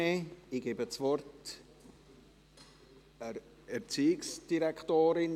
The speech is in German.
Ich gebe das Wort der Erziehungsdirektorin.